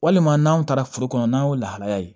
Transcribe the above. Walima n'anw taara foro kɔnɔ n'an y'o lahalaya ye